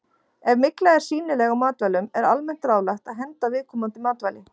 Ef mygla er sýnileg á matvælum er almennt ráðlagt að henda viðkomandi matvæli.